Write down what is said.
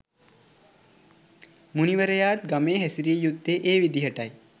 මුනිවරයාත් ගමේ හැසිරිය යුත්තේ ඒ විදිහටයි.